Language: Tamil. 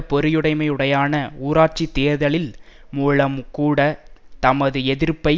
பொறியுடைமை உடனான உள்ளூராட்சி தேர்தலில் மூலம் கூட தமது எதிர்ப்பை